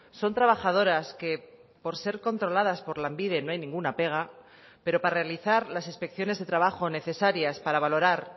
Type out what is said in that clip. son trabajadoras que por ser controladas por lanbide no hay ninguna pega pero para realizar las inspecciones de trabajo necesarias para valorar